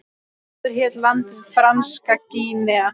Áður hét landið Franska Gínea.